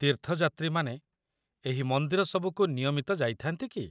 ତୀର୍ଥଯାତ୍ରୀମାନେ ଏହି ମନ୍ଦିର ସବୁକୁ ନିୟମିତ ଯାଇଥାନ୍ତି କି?